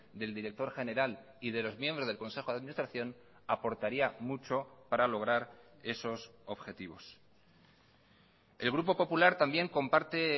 del director general y de los miembros del consejo de administración aportaría mucho para lograr esos objetivos el grupo popular también comparte